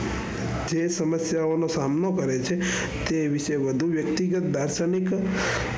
એ સમસ્યાઓ નો સામનો કરે છે તે વિશે વધુ વ્યક્તિગત દક્ષણિક,